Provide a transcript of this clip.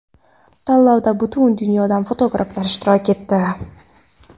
Tanlovda butun dunyodan fotograflar ishtirok etdi.